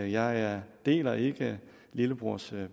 jeg deler ikke lillebrors